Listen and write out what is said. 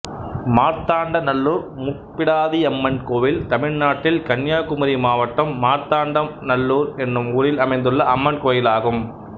மார்த்தாண்ட நல்லூர் முப்பிடாதியம்மன் கோயில் தமிழ்நாட்டில் கன்னியாகுமரி மாவட்டம் மார்த்தாண்ட நல்லூர் என்னும் ஊரில் அமைந்துள்ள அம்மன் கோயிலாகும்